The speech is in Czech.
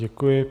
Děkuji.